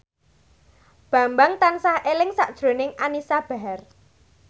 Bambang tansah eling sakjroning Anisa Bahar